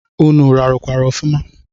Ụnụ rarukwara ọfuma?